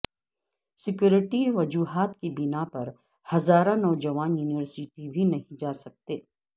security وجوہات کی بنا پر ہزارہ نوجوان یونیورسٹی بھی نہیں جا سکتے